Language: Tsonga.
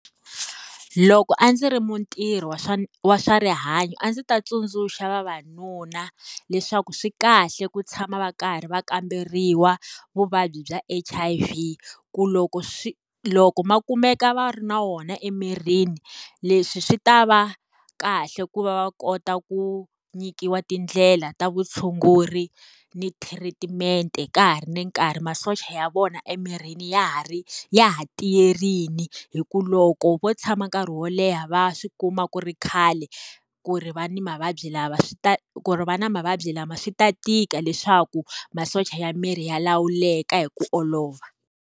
Loko a ndzi ri mutirhi wa swa wa swa rihanyo a ndzi ta tsundzuxa vavanuna, leswaku swi kahle ku tshama va karhi va kamberiwa vuvabyi bya H_I_V. Ku loko loko va kumeka va ri na wona emirini, leswi swi ta va kahle ku va va kota ku nyikiwa tindlela ta vutshunguri ni thiritimente ka ha ri ni nkarhi masocha ya vona emirini ya ha ri ya ha tiyerile. Hi ku loko vo tshama nkarhi wo leha va swi kuma ku ri khale, ku ri va ni mavabyi swi ta ku ri va ni mavabyi lama swi ta tika leswaku, masocha ya miri ya lawuleka hi ku olova.